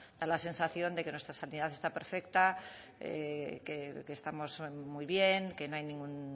da la sensación de que nuestra sanidad esta perfecta que estamos muy bien que no hay ningún